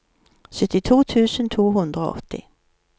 syttito tusen to hundre og åtti